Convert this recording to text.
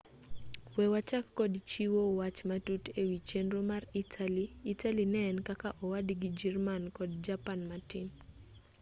we wachak kod chiwo wach matut ewi chenro mar itali itali ne en kaka owadgi jirman kod japan matin